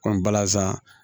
balazan